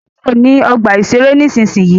Kúrò ní ọgbà-ìṣeré nísinsìnyí!